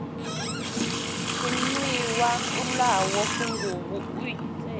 tshenuwa o ḽaho funguvhu iṱeli